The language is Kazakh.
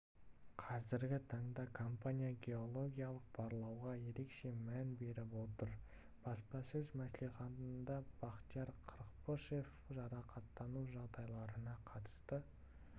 қазіргі таңда компания геологиялық барлауға ерекше мән беріп отыр баспасөз мәслихатында бақтияр қырықпышев жарақаттану жағдайларына қатысты